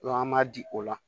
an b'a di o la